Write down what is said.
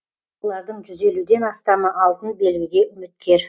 олардың жүз елуден астамы алтын белгіге үміткер